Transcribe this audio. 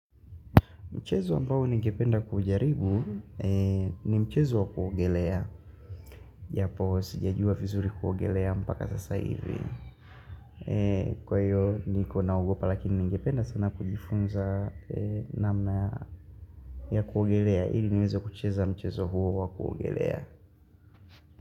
Mchezo ambao ningependa kujaribu ni mchezo wa kuogelea. Japo sijajua vizuri kuogelea mpaka sasa hivi. Kwa hiyo niko naogopa lakini ningependa sana kujifunza namna ya kuogelea. Hili niweze kucheza mchezo huo wa kuogelea.